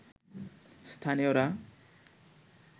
স্থানীয়রা